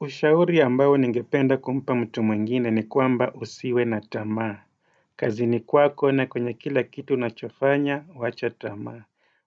Ushauri ambayo ningependa kumpa mtu mwingine ni kwamba usiwe na tamaa. Kazini kwako na kwenye kila kitu unachofanya, wacha tamaa.